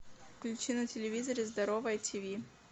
включи на телевизоре здоровое ти ви